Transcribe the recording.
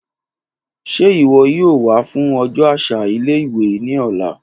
Ṣe iwọ yoo wa fun ọjọ aṣa ile-iwe ni ọla?